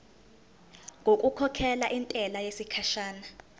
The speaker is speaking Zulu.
ngokukhokhela intela yesikhashana